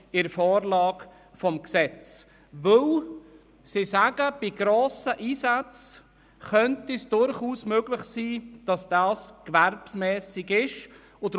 Die Geschäftsleitung sagt, bei grossen Einsätzen sei es durchaus möglich, dass es sich um kommerzielle Anlässe handle.